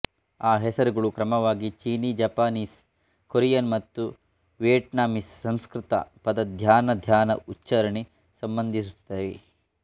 ಆ ಹೆಸರುಗಳು ಕ್ರಮವಾಗಿ ಚೀನೀ ಜಪಾನೀಸ್ ಕೊರಿಯನ್ ಮತ್ತು ವಿಯೆಟ್ನಾಮೀಸ್ ಸಂಸ್ಕೃತ ಪದ ಧ್ಯಾನ ಧ್ಯಾನ ಉಚ್ಚಾರಣೆ ಸಂಬಂಧಿಸಿರುತ್ತವೆ